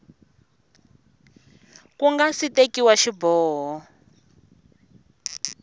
ku nga si tekiwa xiboho